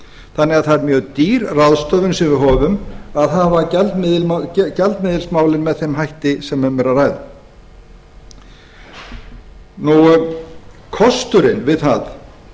þannig að það er mjög dýr ráðstöfun sem við höfum að hafa gjaldmiðilsmálin með þeim hætti sem um er að ræða kosturinn við það